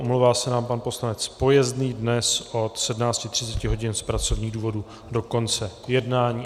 Omlouvám se nám pan poslanec Pojezný dnes od 17.30 hodin z pracovních důvodů do konce jednání.